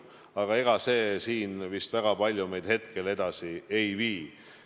Aga ega see siin meid vist praegu väga palju edasi ei vii.